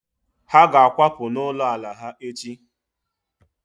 Ha ga-akwapụ n'ụlọ ala ha echi